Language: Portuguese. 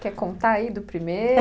Quer contar aí do primeiro?